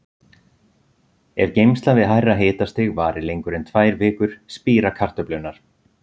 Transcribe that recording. Ef geymsla við hærra hitastig varir lengur en tvær vikur spíra kartöflurnar.